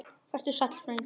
Vertu sæll frændi.